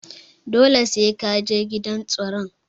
Dole sai Kaje gidan tsaron.